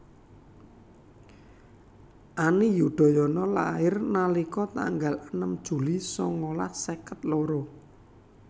Ani Yudhoyono lahir nalika tanggal enem Juli sangalas seket loro